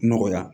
Nɔgɔya